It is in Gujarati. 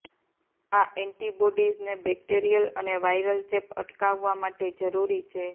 આ એન્ટિબોડીઝને બેક્ટેરિયલ અને વાયરલ ચેપ અટકાવવા માટે જરૂરી છે